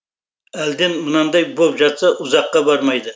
әлден мынандай боп жатса ұзаққа бармайды